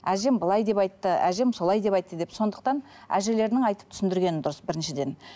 әжем былай деп айтты әжем солай деп айтты деп сондықтан әжелерінің айтып түсіндіргені дұрыс біріншіден